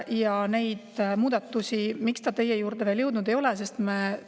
Miks need muudatused teie juurde veel jõudnud ei ole?